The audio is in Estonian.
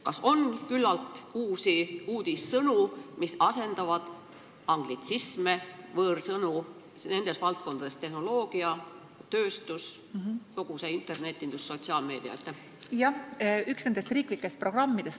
Kas on küllalt uudissõnu, mis asendavad anglitsisme nendes valdkondades: tehnoloogia, tööstus, kogu internetindus, sotsiaalmeedia?